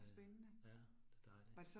Øh ja, det dejligt